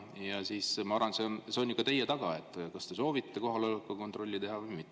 Ja ma arvan, et see on ikka teie taga, kas te soovite kohaloleku kontrolli teha või mitte.